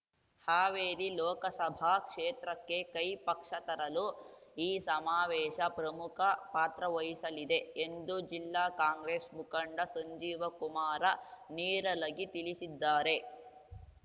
ಹಾವೇರಿ ಲೋಕಸಭಾ ಕ್ಷೇತ್ರಕ್ಕೆ ಕೈ ಪಕ್ಷ ಜಯ ತರಲು ಈ ಸಮಾವೇಶ ಪ್ರಮುಖ ಪಾತ್ರ ವಹಿಸಲಿದೆ ಎಂದು ಜಿಲ್ಲಾ ಕಾಂಗ್ರೇಸ್ ಮುಖಂಡ ಸಂಜೀವಕುಮಾರ ನೀರಲಗಿ ತಿಳಿಸಿದ್ದಾರೆ